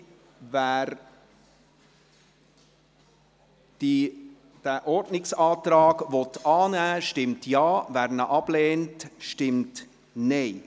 Wer diesen Ordnungsantrag annehmen will, stimmt Ja, wer diesen ablehnt, stimmt Nein.